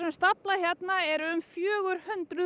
stafla hérna eru um fjögur hundruð